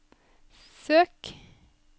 søk